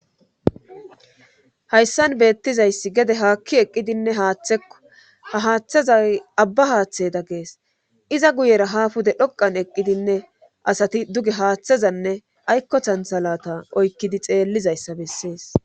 hayssan beettizayssi gede haakki eqqidinne haththekko ha haaththeza abba haaththeda gees iza guyera ha fude dhoqan eqqidinne asati duge haaththezanne aykkothanthalata oykkidi xeellizayssa bessees